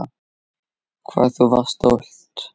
Hvað þú varst stolt.